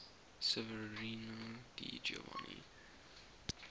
severino di giovanni